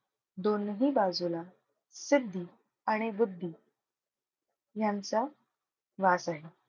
दोनही बाजूला सिद्धी आणि बुद्धी यांचा वास आहे.